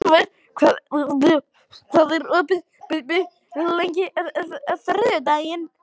Björgúlfur, hvað er opið lengi á þriðjudaginn?